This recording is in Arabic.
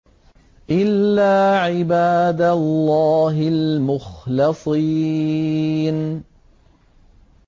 إِلَّا عِبَادَ اللَّهِ الْمُخْلَصِينَ